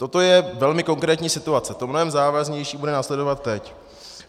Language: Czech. Toto je velmi konkrétní situace, to mnohem závažnější bude následovat teď.